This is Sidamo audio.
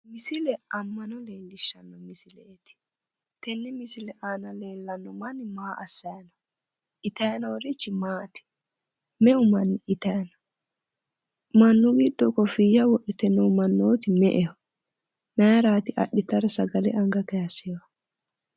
Misile amma'no leellishshanno misileeti, tenne misile aana leellanno manni maa assay no?itaay noorichi maati?me"u manni itay no? Mannu giddo koffiyya wodhite noori me"eho? Mayiraati sagale adhitara anga kaaysehu?